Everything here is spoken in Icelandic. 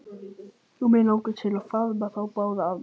Og mig langar til að faðma þá báða að mér.